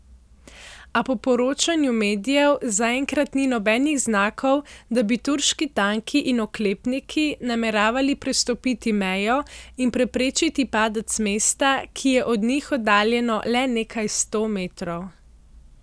A po poročanju medijev zaenkrat ni nobenih znakov, da bi turški tanki in oklepniki nameravali prestopiti mejo in preprečiti padec mesta, ki je od njih oddaljeno le nekaj sto metrov.